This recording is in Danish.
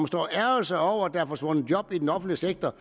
står og ærgrer sig over at der er forsvundet job i den offentlige sektor